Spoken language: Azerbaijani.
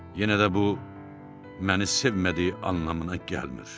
Yenə də bu məni sevmədiyi anlamına gəlmir.